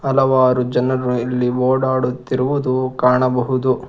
ಹಲವಾರು ಜನರು ಇಲ್ಲಿ ಓಡಾಡುತ್ತಿರುವುದು ಇಲ್ಲಿ ಕಾಣಬಹುದು.